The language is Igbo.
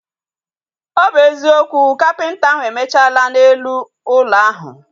Ọ bụ eziokwu, kapịnta ahu emechala na elu ụlọ ahu